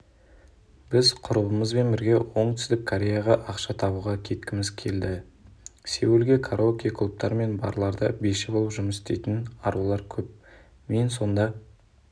біз құрбымызбен бірге оңтүстік кореяға ақша табуға кеткіміз келеді сеулде караоке-клубтар мен барларда биші болып жұмыс істейтін арулар көп мен сонда